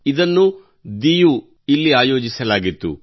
ಇದನ್ನು ದಿಯುವಿನಲ್ಲಿ ಆಯೋಜಿಸಲಾಗಿತ್ತು